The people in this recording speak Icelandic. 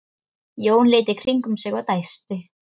Jón leit í kringum sig og dæsti.